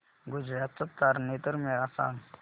गुजरात चा तारनेतर मेळा मला सांग